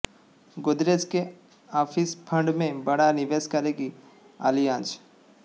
गोदरेज के office fund में बड़ा निवेश करेगी आलियांज